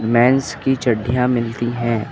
Men's की चड्डियाँ मिलती हैं।